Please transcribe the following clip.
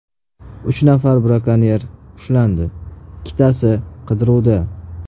Uch nafar brakonyer ushlandi, ikkitasi qidiruvda.